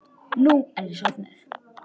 Nú er ég sofnuð.